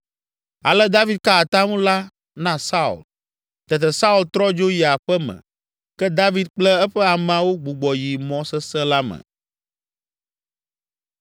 Ale David ka atam la na Saul. Tete Saul trɔ dzo yi aƒe me ke David kple eƒe ameawo gbugbɔ yi mɔ sesẽ la me.